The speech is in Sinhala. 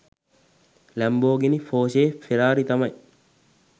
ලැම්බෝගිනි පොර්ෂෙ ෆෙරාරි තමයි